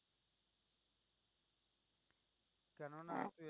কেননা